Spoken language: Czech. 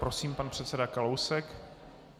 Prosím, pan předseda Kalousek.